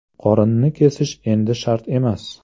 Qorinni kesish endi shart emas!